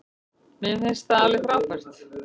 Mér finnst það alveg frábært.